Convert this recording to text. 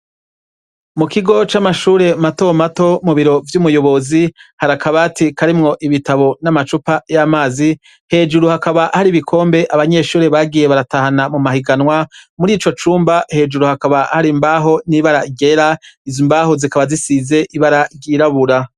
Mu kigo c'amashure matomato mu biro vy'umuyobozi hari akabati karimwo ibitabo n'amacupa y'amazi. Hejuru hakaba hari ibikombe abanyeshure bagiye baratahana mu mahiganwa. Muri ico cumba, hejuru hakaba hari imbaho n'ibara ryera. Izo mbaho zikaba zisize ibara ryirabura.